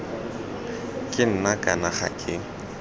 ke nna kana ga ke